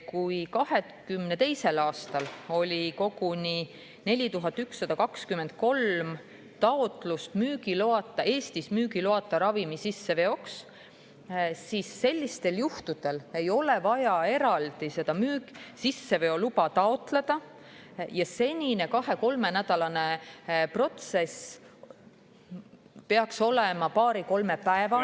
Kui 2022. aastal oli koguni 4123 taotlust Eestis müügiloata ravimi sisseveoks, siis sellistel juhtudel ei oleks enam vaja eraldi sisseveoluba taotleda ja senine kahe-kolmenädalane protsess peaks muutuma paari-kolmepäevaseks.